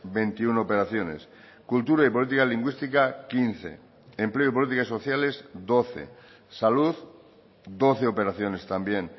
veintiuno operaciones cultura y política lingüística quince empleo y políticas sociales doce salud doce operaciones también